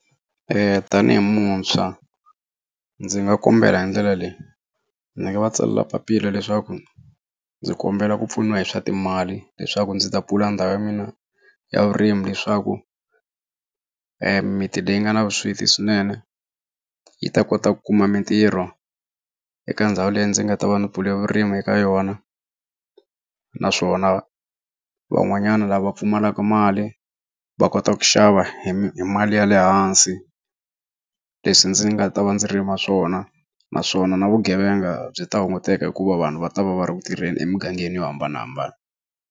tanihi muntshwa ndzi nga kombela hi ndlela leyi, ndzi nga va tsalela papila leswaku ndzi kombela ku pfuniwa hi swa timali leswaku ndzi ta pfula ndhawu ya mina ya vurimi leswaku miti leyi nga na vusweti swinene yi ta kota ku kuma mintirho eka ndhawu leyi ndzi nga ta va ndzi pfule vurimi eka yona naswona van'wanyana lava pfumalaka mali va kota ku xava hi mali ya lehansi leswi ndzi nga ta va ndzi rima swona naswona na vugevenga byi ta hunguteka hikuva vanhu va ta va va ri ku tirheni emugangeni yo hambanahambana.